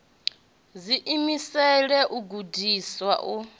ḓi imisela u gudiswa u